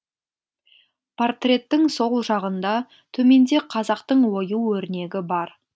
портреттің сол жағында төменде қазақтың ою өрнегі бар